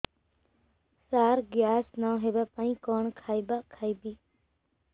ସାର gas ନ ହେବା ପାଇଁ କଣ ଖାଇବା ଖାଇବି